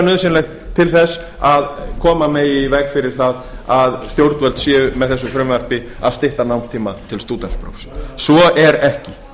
nauðsynlegt til að koma megi í veg fyrir það að stjórnvöld séu með þessu frumvarpi að stytta námstíma til stúdentsprófs svo er ekki